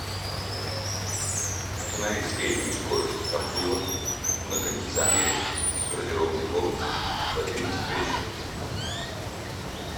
установи среднюю скорость обдува на кондиционере в гардеробной комнате в одиннадцать вечера